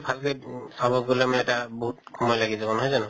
ভাগ হৈ উম চাব গʼলে মানে এটা বহুত সময় লাগি যাব নহয় জানো?